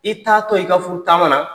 I t'aatɔ i ka furu taama na